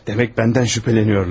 Demək məndən şübhələnirlər.